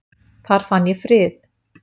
Þar fann ég frið